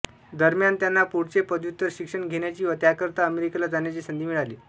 दरम्यान त्यांना पुढचे पदव्युत्तर शिक्षण घेण्याची व त्याकरिता अमेरिकेला जाण्याची संधी मिळाली